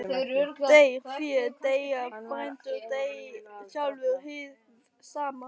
Deyr fé, deyja frændur, deyr sjálfur hið sama.